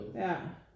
Ja